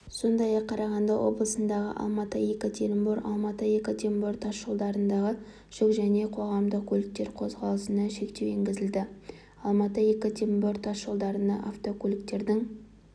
сондай-ақ қарағанды облысындағы алматы-екатеринбор алматы екатеринбор тас жолдарындағы жүк және қоғамдық көліктер қозғалысына шектеу енгізілді алматы екатеринбор тас жолдарында автокөліктің